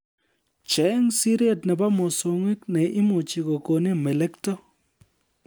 Cheng' Siret nebo mosongik ne imuchi kokonin melekto